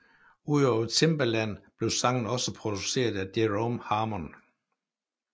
Udover Timbaland blev sangen også produceret af Jerome Harmon